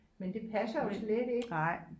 Men det passer jo slet ikke